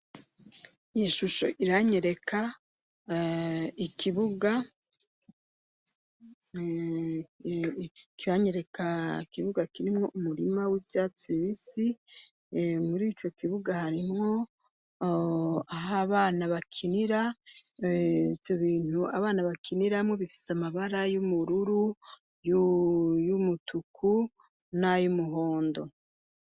Iyi shusho iranyereka ikibuga kirimwo umurima w'ivyatsi bibisi murico kibuga harimwo abana bakinira ivyo bintu abana bakiniramwo bifise amabara y'ubururu, ayumutuku n'ayumuhondo.